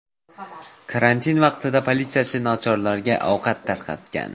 Karantin vaqtida politsiyachi nochorlarga ovqat tarqatgan.